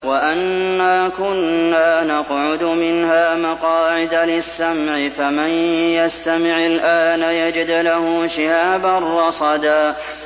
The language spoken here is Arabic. وَأَنَّا كُنَّا نَقْعُدُ مِنْهَا مَقَاعِدَ لِلسَّمْعِ ۖ فَمَن يَسْتَمِعِ الْآنَ يَجِدْ لَهُ شِهَابًا رَّصَدًا